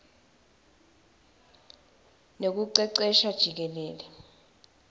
nekucecesha jikelele